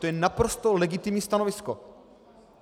To je naprosto legitimní stanovisko.